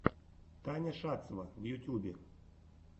таня шацева в ютьюбе